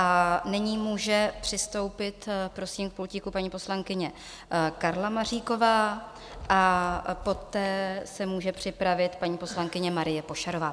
A nyní může přistoupit, prosím, k pultíku paní poslankyně Karla Maříková a poté se může připravit paní poslankyně Marie Pošarová.